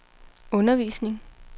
undervisning